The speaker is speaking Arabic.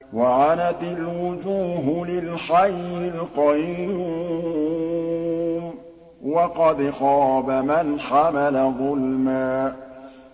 ۞ وَعَنَتِ الْوُجُوهُ لِلْحَيِّ الْقَيُّومِ ۖ وَقَدْ خَابَ مَنْ حَمَلَ ظُلْمًا